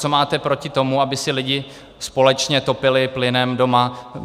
Co máte proti tomu, aby si lidé společně topili plynem doma?